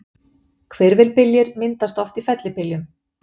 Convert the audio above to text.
Hvirfilbyljir myndast oft í fellibyljum.